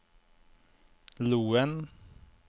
Loen